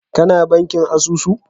Ka na bankin asusu?